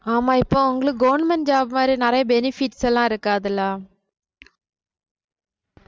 ஆமா இப்ப அவங்களுக்கு government job மாதிரி நிறைய benefits எல்லாம் இருக்காதல்ல